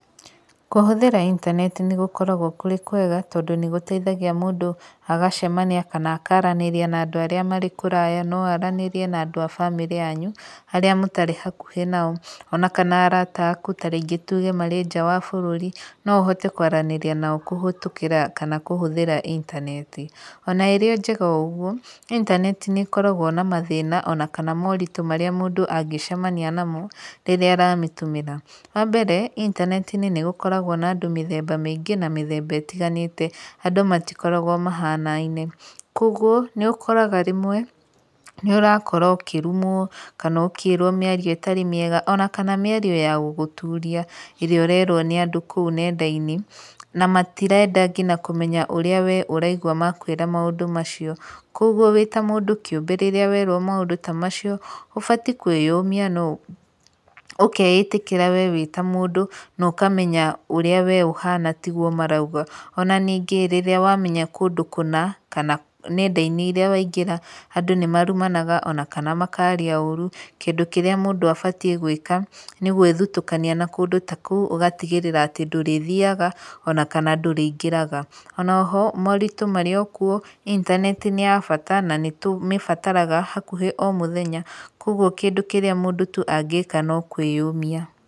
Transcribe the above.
Kũhũthĩra intaneti nĩ gũkoragwo kũrĩ kwega, tondũ nĩ gũteithagia mũndũ agacemania kana akaranĩria na andũ arĩa marĩ kũraya. No aranĩrie na andũ a bamĩrĩ yanyu, arĩa mũtarĩ hakuhĩ nao. Ona kana arata aku, tarĩngĩ tuge marĩ nja wa bũrũri, no ũhote kwaranĩria nao kũhetũkĩra, kana kũhũthĩra intaneti. Ona ĩrĩ njega o ũguo, intaneti nĩ ĩkoragwo ma mathĩna, ona kana moritũ marĩa mũndũ angĩcemania namo, rĩrĩa aramĩtũmĩra. Wambere, intaneti-inĩ nĩ gũkoragwo na andũ mĩthemba mĩingĩ, na mĩthemba ĩtiganĩte. Andũ matikoragwo mahanaine. Koguo nĩũkoraga rĩmwe, nĩ ũrarũmwo ũrakora ũkĩrumwo, mĩario ĩtarĩ mĩega kana mĩario ĩtarĩ ya gũgũturia ĩrĩa ũrerwo kũu ng'enda-inĩ. Na matirenda kũmenya ũrĩa ũraigua makũĩra maũndũ macio. Koguo wĩta mũndũ kĩũmbe rĩrĩa werwo maũndu ta macio, ũbatiĩ kũĩyũmia na, ũkeĩtĩkĩra wee ta mũndũ ũrĩa ũhana tiguo marauga. Ona ningĩ rĩrĩa wamenya kũndũ kũna, kana ng'enda rĩrĩa waingĩra nĩ marumanaga kana makaria ũru, kĩndũ kĩrĩa mũndũ abatiĩ nĩ gũĩka, nĩ gũĩthutũkania na kũndũ ta kũu, ũgatigĩrĩra atĩ ndũrĩthiaga ona kana ndũrĩingĩraga. Ona oho moritũ marĩokuo, intaneti nĩ yabata na nĩ tũmĩbataraga hakuhĩ o mũthenya, koguo kĩrĩa mũndũ angĩka no kwĩyũmia